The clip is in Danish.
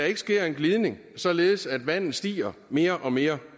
ikke sker en glidning således at vandet stiger mere og mere